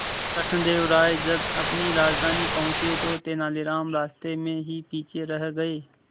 कृष्णदेव राय जब अपनी राजधानी पहुंचे तो तेलानीराम रास्ते में ही पीछे रह गए